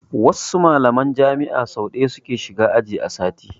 Wasu mallaman jami'a so ɗaya su ke shiga aji a sati.